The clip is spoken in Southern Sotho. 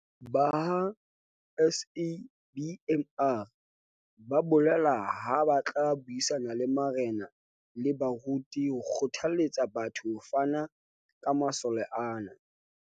Ba ha SABMR ba bolela ha ba tla buisana le marena le baruti ho kgothaletsa batho ho fana ka masole ana.